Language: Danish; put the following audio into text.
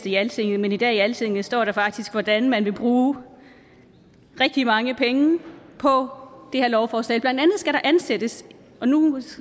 i altinget men i dag i altinget står der faktisk hvordan man vil bruge rigtig mange penge på det her lovforslag blandt andet skal der ansættes og nu